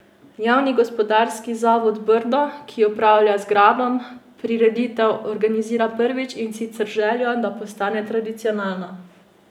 Javni gospodarski zavod Brdo, ki upravlja z gradom, prireditev organizira prvič, in sicer z željo, da postane tradicionalna.